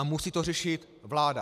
A musí to řešit vláda.